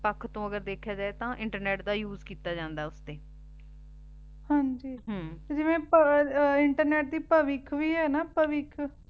ਪਖ ਤੋਂ ਅਗਰ ਦੇਖ੍ਯਾ ਜੇ ਤਾਂ ਇੰਟਰਨੇਟ ਦਾ ਉਸੇ ਕੀਤਾ ਜਾਂਦਾ ਓਸ ਤੇ ਹਾਂਜੀ ਤੇ ਜਿਵੇਂ ਇੰਟਰਨੇਟ ਦੀ ਪਾਵਿਖ ਵੀ ਆਯ ਨਾ ਪਾਵਿਖ